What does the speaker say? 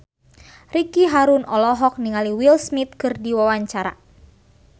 Ricky Harun olohok ningali Will Smith keur diwawancara